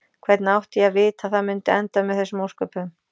Hvernig átti ég að vita að það mundi enda með þessum ósköpum?